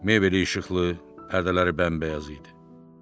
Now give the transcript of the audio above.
Mebeli işıqlı, pərdələri bəmbəyaz idi.